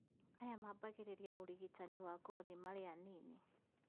Aya mambagĩrĩria ũrigitani wa ngothi mari anini